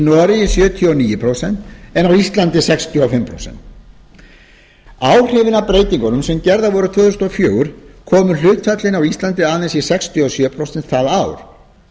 noregi sjötíu og níu prósent en á íslandi sextíu og fimm prósent áhrifin af breytingunum sem gerðar voru tvö þúsund og fjögur komu hlutfallinu á íslandi aðeins í sextíu og sjö prósent það ár